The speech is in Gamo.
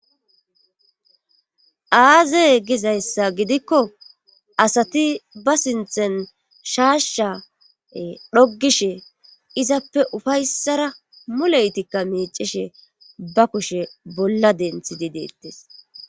aazey gizayssa gidikko asati ba sinthen shaashshae dhoggishe izappe ufayssara muleytikka meecishe ba kushe bolla denthi di deettes